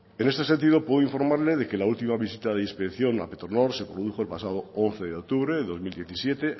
en este sentido puedo informarle de que la última visita de inspección a petronor se produjo el pasado once de octubre de dos mil diecisiete